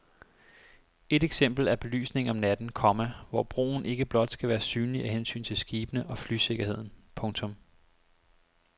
Et eksempel er belysningen om natten, komma hvor broen ikke blot skal være synlig af hensyn til skibene og flysikkerheden. punktum